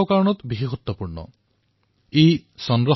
চন্দ্ৰায়ন২ এই অভিযান বহুক্ষেত্ৰত উল্লেখযোগ্য হিচাপে বিবেচিত হৈছে